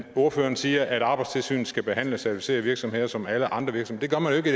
ordføreren siger at arbejdstilsynet skal behandle certificerede virksomheder som alle andre virksomheder det